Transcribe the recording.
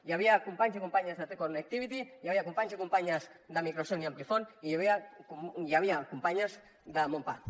hi havia companys i companyes de te connectivity hi havia companys i companyes de microson i amplifon i hi havia companyes de monpack